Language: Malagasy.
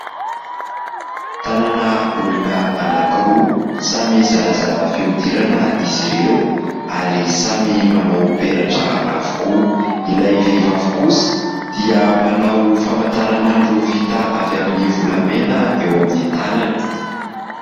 Tanana olona anankiroa, samy zarazara fihodirana izy ireo ary samy manao peratra avokoa. Ilay vehivavy kosa dia manao famantaranandro vita avy amin'ny volamena eo amin'ny tanany.